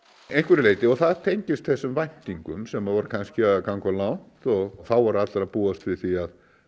einhverju leyti og það tengist þessum væntingum sem voru kannski að ganga of langt og þá voru allir að búast við því